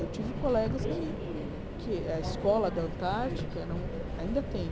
Eu tive colegas que que... A escola da Antártica ainda tem.